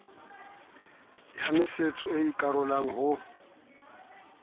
ya masetso e ikarolang ho